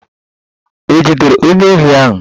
E jidere onye ohi ahụ?